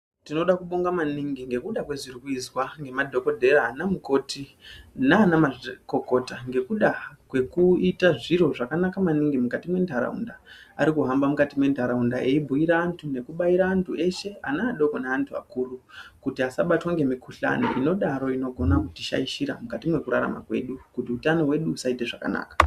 Tinoda kuboinga maningi ngekuda kwazvirikuizwa ngemadhogodheya anamukoti nanamazvikokota ngekuda kwekuita zviro zvakanaka maningi mukati mentaraunda. Arikuhamba mukati mentaraunda eibhuyira antu nekubaira antu eshe ana adoko neantu akuru kuti asabatwa ngemukhuhlane inodaro inogona kutishaishira mukati mwekurrarama kwedu kuti utano hwedu husaita zvakanaka.